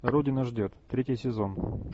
родина ждет третий сезон